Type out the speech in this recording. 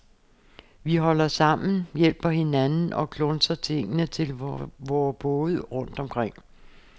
Vi holder sammen, hjælper hinanden, og klunser tingene til vore både rundt omkring.